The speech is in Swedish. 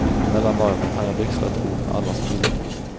Mellan varven hann jag växla ett ord med alla som ville.